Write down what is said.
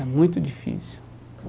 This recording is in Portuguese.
É muito difícil.